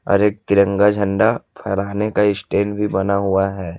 और एक तिरंगा झंडा फहराने का स्टैंड भी बना हुआ है।